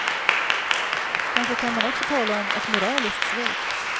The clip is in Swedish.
Kanske kan man också tala om ett moraliskt svek.